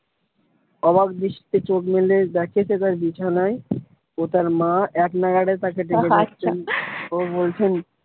অবাক দৃষ্টিতে চোখ মেলে দেখে সে তার বিছানায় ও তার মা এক নাগাড়ে তাকে ও বলছেন